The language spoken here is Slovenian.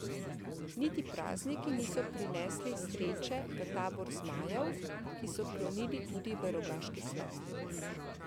Niti prazniki niso prinesli sreče v tabor zmajev, ki so klonili tudi v Rogaški Slatini.